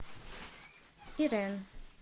ирэн